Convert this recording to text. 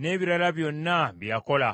n’ebirala byonna bye yakola,